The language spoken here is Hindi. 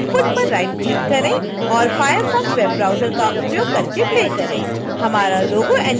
आउटपुट पर राइट क्लिक करें और firefox web browser का उपयोग करके प्ले करें